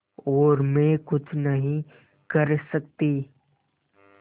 और मैं कुछ नहीं कर सकती